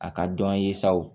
A ka dɔn ye sa o